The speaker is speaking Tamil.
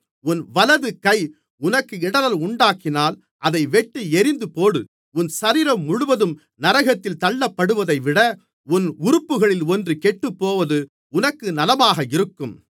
உன் வலது கை உனக்கு இடறல் உண்டாக்கினால் அதை வெட்டி எறிந்துபோடு உன் சரீரம் முழுவதும் நரகத்தில் தள்ளப்படுவதைவிட உன் உறுப்புகளில் ஒன்று கெட்டுப்போவது உனக்கு நலமாக இருக்கும்